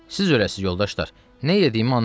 Siz, əlacı yoldaşlar, nə elədiyimi anlamadım.